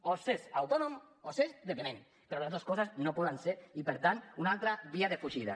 o s’és autònom o s’és dependent però les dos coses no poden ser i per tant una altra via de fugida